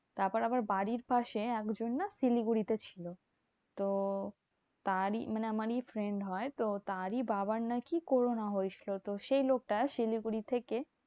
তারপর আবার বাড়ির পাশে একজন না শিলিগুড়িতে ছিল। তো তারই মানে আমারই friend হয়। তো তারই বাবার নাকি corona হয়েছিল। তো সেই লোকটা শিলিগুড়ি থেকে